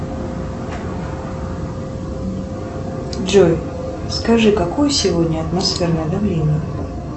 джой скажи какое сегодня атмосферное давление